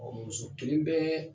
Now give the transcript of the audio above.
Ɔ muso kelen bɛ